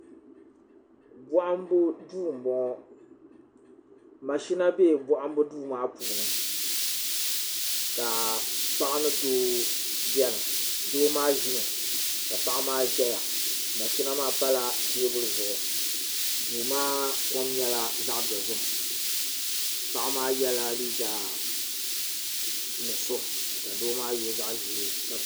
bohambu duu n boŋo mashina bɛ bohambu duu maa puuni ka paɣa ni doo biɛni doo maa ʒimi ka paɣa maa ʒɛya mashina maa pala teebuli zuɣu duu maa kom nyɛla zaɣ dozim paɣa maa yɛla liiga nuɣso ka doo maa yɛ zaɣ ʒiɛ ka ka